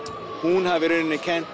hún hafi í rauninni kennt